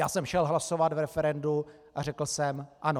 Já jsem šel hlasovat v referendu a řekl jsem "ano".